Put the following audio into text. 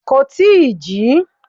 Kò tí ì jí.